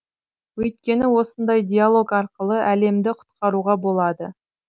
өйткені осындай диалог арқылы әлемді құтқаруға болады